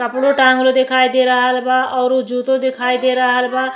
कपड़ो टाँगल देखाई दे रहल बा औरु जूतों देखाई दे रहल बा।